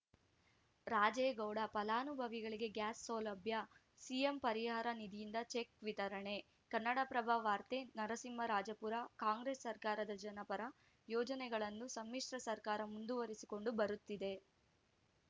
ರಾಜೇಗೌಡ ಫಲಾನುಭವಿಗಳಿಗೆ ಗ್ಯಾಸ್‌ ಸೌಲಭ್ಯ ಸಿಎಂ ಪರಿಹಾರ ನಿಧಿಯಿಂದ ಚೆಕ್‌ ವಿತರಣೆ ಕನ್ನಡಪ್ರಭ ವಾರ್ತೆ ನರಸಿಂಹರಾಜಪುರ ಕಾಂಗ್ರೆಸ್‌ ಸರಕಾರದ ಜನಪರ ಯೋಜನೆಗಳನ್ನು ಸಮ್ಮಿಶ್ರ ಸರಕಾರ ಮುಂದುವರಿಸಿಕೊಂಡು ಬರುತ್ತಿದೆ